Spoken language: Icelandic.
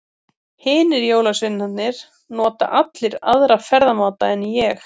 Hinir jólasveinarnir nota allir aðra ferðamáta en ég.